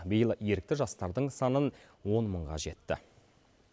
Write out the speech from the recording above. биыл ерікті жастардың санын он мыңға жетті